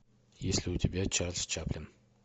есть ли у тебя чарльз чаплин